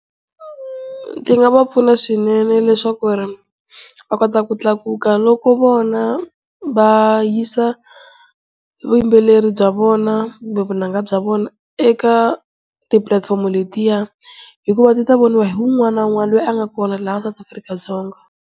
Ti nga va pfuna swinene leswaku va kota ku tlakuka, loko vona va yisa vuyimbeleri bya vona kumbe vunanga bya vona eka ti-platform-o letiya hikuva ti ta voniwa hi wun'wana na wun'wana loyi a nga kona laha sata Afrika-Dzonga.